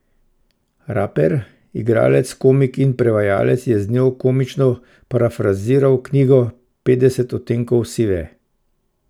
Raper, igralec, komik in prevajalec je z njo komično parafraziral knjigo Petdeset odtenkov sive.